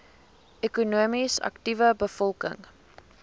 ekonomies aktiewe bevolking